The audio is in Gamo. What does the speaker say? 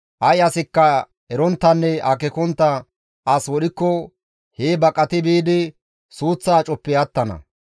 Ay asikka eronttanne akeekontta as wodhikko hee baqati biidi suuththa acoppe attana.